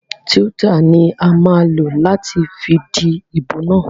Twitter ni a máa lò láti fi díbò na.